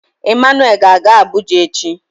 Emmanuel ga-aga Abuja echi.